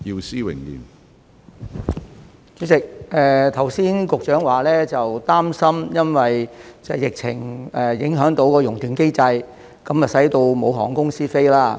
主席，剛才局長說擔心因為疫情影響到"熔斷機制"，導致航空公司要停飛。